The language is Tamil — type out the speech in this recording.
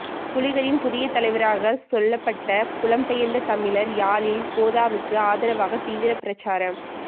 புலிகளின் புதிய தலைவராக சொல்லப்பட்ட புலம்பெயர்தமிழர் யாழில் கோதாவுக்கு ஆதரவாக தீவிர பிரசாரம்